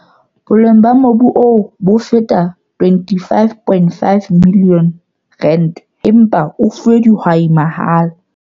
Boleng ba mobu oo bo feta R25.5 milione empa o fuwe dihwai mahala.